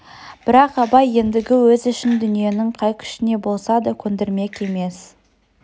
бірақ абай ендігі өз ішін дүниенің қай күшіне болса да көндірмек емес